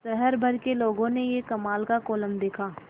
शहर भर के लोगों ने यह कमाल का कोलम देखा